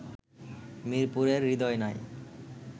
মিরপুরে হৃদয় নাই